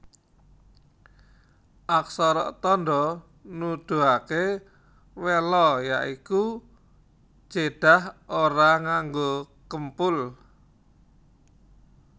Aksara tandha nuduhaké wela ya iku jedah ora nganggo kempul